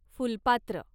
फुलपात्र